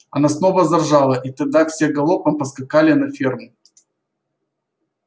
она снова заржала и тогда все галопом поскакали на ферму